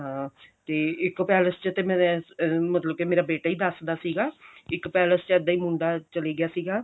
ਹਾਂ ਤੇ ਇੱਕ ਪੈਲੇਸ ਚ ਤਾਂ ਮੈਂ ਮਤਲਬ ਵੀ ਮੇਰਾ ਬੇਟਾ ਹੀ ਦੱਸਦਾ ਸੀਗਾ ਇੱਕ ਪੈਲੇਸ ਚ ਇੱਦਾਂ ਹੀ ਇੱਕ ਮੁੰਡੇ ਚੱਲ ਗਿਆ ਸੀਗਾ